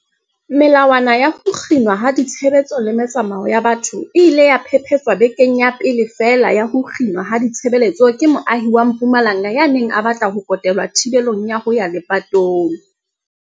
Melawana ya ho kginwa ha ditshebeletso le metsamao ya batho e ile ya phephetswa bekeng ya pele feela ya ho kginwa ha ditshebeletso ke moahi wa Mpumalanga ya neng a batla ho kotelwa thibelong ya ho ya lepatong.